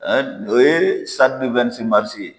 Ɛɛ o ye sadi di wɛnisi marisi ye